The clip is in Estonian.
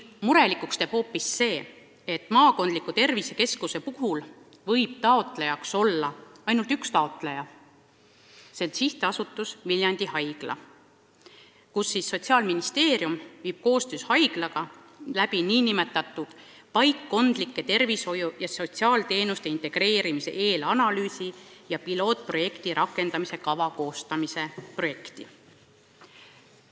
Murelikuks teeb hoopis see, et maakondliku tervisekeskuse rajamisel võib selle toetuse taotlejaks olla ainult üks taotleja, see on SA Viljandi Haigla, kellega koostöös viib Sotsiaalministeerium läbi nn paikkondlike tervishoiu- ja sotsiaalteenuste integreerimise eelanalüüsi ja pilootprojekti rakendamise kava koostamise projekti.